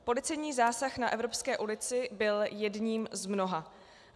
Policejní zásah na Evropské ulici byl jedním z mnoha.